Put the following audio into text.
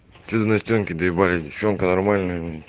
ты на стенке доебались девчонка нормально блять